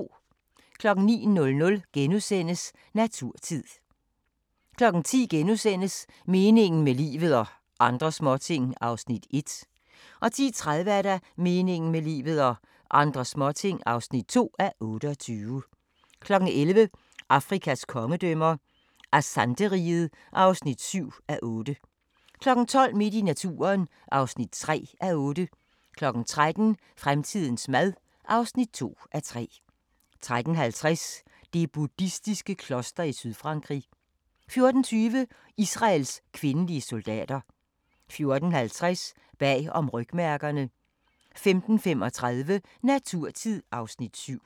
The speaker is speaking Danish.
09:00: Naturtid * 10:00: Meningen med livet – og andre småting (1:28)* 10:30: Meningen med livet – og andre småting (2:28) 11:00: Afrikas kongedømmer – Asante-riget (7:8) 12:00: Midt i naturen (3:8) 13:00: Fremtidens mad (2:3) 13:50: Det buddhistiske kloster i Sydfrankrig 14:20: Israels kvindelige soldater 14:50: Bag om rygmærkerne 15:35: Naturtid (Afs. 7)